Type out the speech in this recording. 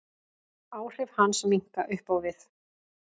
Áhrif hans minnka upp á við.